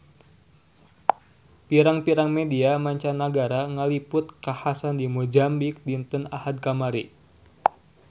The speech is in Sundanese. Pirang-pirang media mancanagara ngaliput kakhasan di Mozambik dinten Ahad kamari